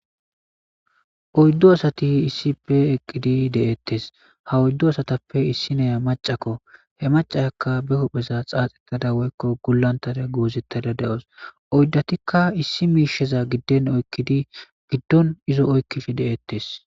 Oyddo asati issippe eqqidi de7ettes. Ha oyddo asatappe issi nayiya macakko he macaakko be hupheza xaaxettada woykko gullantara goozettada da7os. oyddatikka issi miisheza gidden oykkidi giddon izo oykkif deettes.